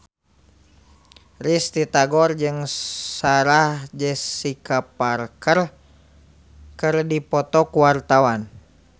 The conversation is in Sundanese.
Risty Tagor jeung Sarah Jessica Parker keur dipoto ku wartawan